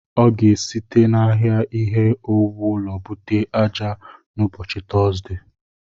Ọ ga-esite n'ahịa ihe owuwu ụlọ bute ájá n'ụbọchị Tọzdee.